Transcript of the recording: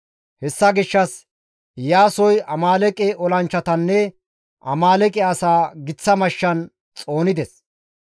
Hessa gishshas Iyaasoy Amaaleeqe olanchchatanne Amaaleeqe asaa giththa mashshan xoonides.